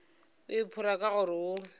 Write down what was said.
o iphora ka gore o